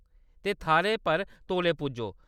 ते थाह्‌‌‌रै पर तौले पुज्जो।